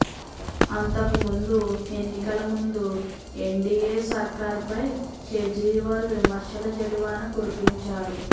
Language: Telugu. అంతకుముందు ఎన్నికల ముందు ఎన్డీఏ సర్కార్పై కేజ్రీవాల్ విమర్శల జడివాన కురిపించారు